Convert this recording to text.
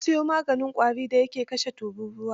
Na siyo maganin ƙwarin da ya ke kashe tururuwa.